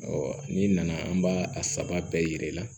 n'i nana an b'a a saba bɛɛ yira i la